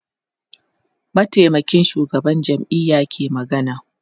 mataimakin shugaban jam'iya ke magana